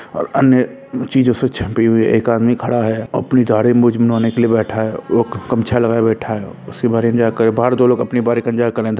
और अन्य चीजों से छपे हुए एक आदमी खड़ा है अपनी दाढ़ी मूंछ बनवाने के लिए बैठा है वो गमछा लगाये बैठा है उसके बाहर इंतज़ार कर रहे बाहर दो लोग अपनी बारी का इंतजार कर रहे है।